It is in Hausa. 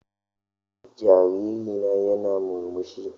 Jariri na yana murmushi.